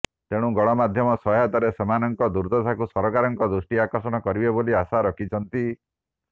ତେଣୁ ଗଣମାଧ୍ୟ ସହାୟତାରେ ସେମାନକଂ ଦୁର୍ଦଶାକୁ ସରକାରକଂ ଦୃଷ୍ଟି ଆକର୍ଷଣ କରିବେ ବୋଲି ଆଶା ରଖିଛନ୍ତି